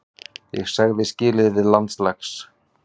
Ég sagði skilið við landslags